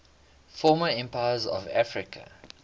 former empires of africa